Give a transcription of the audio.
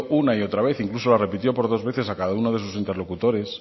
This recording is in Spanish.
una y otra vez incluso la repitió por dos veces a cada uno de sus interlocutores